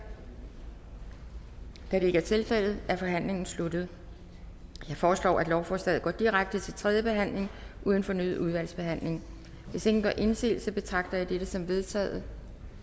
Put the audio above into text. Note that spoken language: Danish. da det ikke er tilfældet er forhandlingen sluttet jeg foreslår at lovforslaget går direkte til tredje behandling uden fornyet udvalgsbehandling hvis ingen gør indsigelse betragter jeg dette som vedtaget